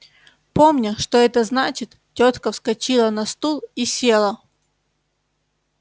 помня что это значит тётка вскочила на стул и села